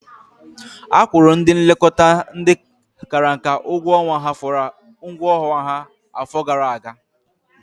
Akwụrụ ndị nlekọta ndị kara nka ụgwọ ọnwa ha afọ gara aga.